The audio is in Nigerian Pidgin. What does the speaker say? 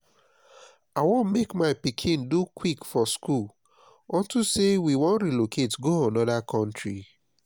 i wan make my pikin do quick for school unto say we wan relocate go another country